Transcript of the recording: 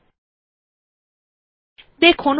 hobbyওডিটি বিকল্প এ ক্লিক করে ওপেন বিকল্পে ক্লিক করুন